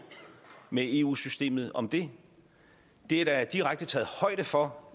med eu systemet om det det er der direkte taget højde for